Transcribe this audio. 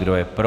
Kdo je pro?